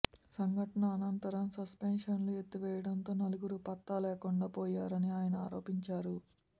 సంఘటన అనంతరం సస్పెన్షన్లు ఎత్తివేయటంతో నలుగురూ పత్తాలేకుండా పోయారని ఆయన ఆరోపించారు